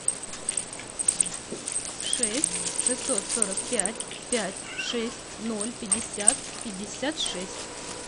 шесть шестьсот сорок пять пять шесть ноль пятьдесят пятьдесят шесть